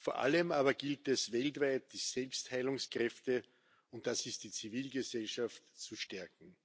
Vor allem aber gilt es, weltweit die Selbstheilungskräfte und das ist die Zivilgesellschaft zu stärken.